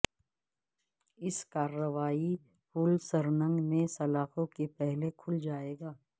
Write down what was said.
اس کارروائی پول سرنگ میں سلاخوں کے پہلے کھل جائے گا